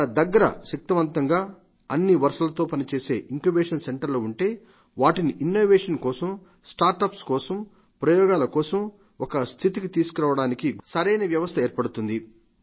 మన దగ్గర శక్తిమంతంగా అన్ని వనరులతో పనిచేసే ఇంక్యుబేషన్ సెంటర్లు ఉంటే వాటిని ఇన్నోవేషన్ కోసం స్టార్ట్ అప్స్ కోసం ప్రయోగాల కోసం ఒక స్థితిని తీసుకురావడానికి సరైన వ్యవస్థ ఏర్పడుతుంది